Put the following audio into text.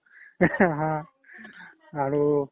হা আৰু